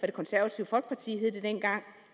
det konservative folkeparti som det hed dengang